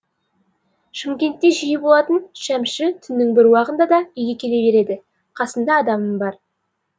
шымкентте жиі болатын шәмші түннің бір уағында да үйге келе береді қасында адамы бар